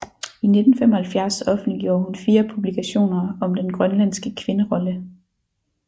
I 1975 offentliggjorde hun fire publikationer om den grønlandske kvinderolle